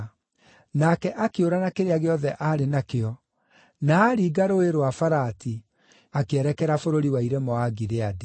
Nake akĩũra na kĩrĩa gĩothe arĩ nakĩo, na aringa Rũũĩ rwa Farati, akĩerekera bũrũri wa irĩma wa Gileadi.